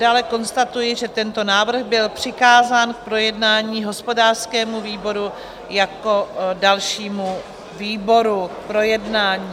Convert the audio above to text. Dále konstatuji, že tento návrh byl přikázán k projednání hospodářskému výboru jako dalšímu výboru k projednání.